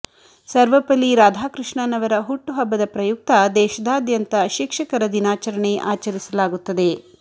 ಸರ್ವಪಲ್ಲಿ ರಾಧಾಕೃಷ್ಣನ್ ಅವರ ಹುಟ್ಟುಹಬ್ಬದ ಪ್ರಯುಕ್ತ ದೇಶಾದ್ಯಂತ ಶಿಕ್ಷಕರ ದಿನಾಚರಣೆ ಆಚರಿಸಲಾಗುತ್ತದೆ